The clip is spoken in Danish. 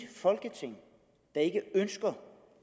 folketing der ikke ønsker